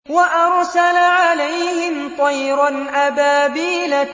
وَأَرْسَلَ عَلَيْهِمْ طَيْرًا أَبَابِيلَ